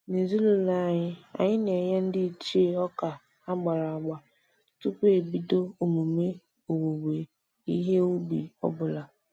N'ezinụlọ anyị, anyị na-enye ndị ichie ọka agbara agba tupu ebido emume owuwe ihe ubi ọbụla